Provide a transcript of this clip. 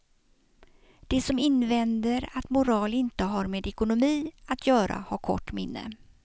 De som invänder att moral inte har med ekonomi att göra har kort minne.